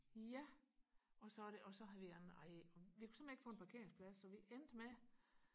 ja og så er det og så har vi ej vi kunne simpelthen ikke få en parkeringsplads så vi endte med